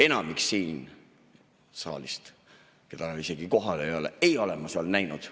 Enamikku siit saalist, keda isegi praegu kohal ei ole, ei ole ma seal näinud.